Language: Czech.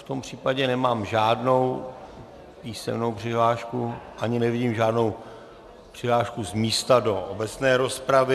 V tom případě nemám žádnou písemnou přihlášku ani nevidím žádnou přihlášku z místa do obecné rozpravy.